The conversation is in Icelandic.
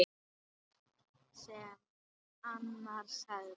Satt sem Arnar sagði.